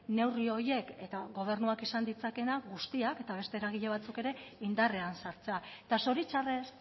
neurri horiek eta gobernuak esan ditzakeena guztiak eta beste eragile batzuk ere indarrean sartzea eta zoritxarrez